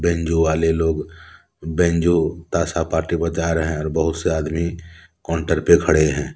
Banjo वाले लोग banjo ताशा पार्टी बजा रहे हैं और बहुत से आदमी काउंटर पे खड़े हैं।